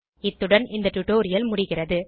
இத்துடன் இந்த டுடோரியல் முடிகிறது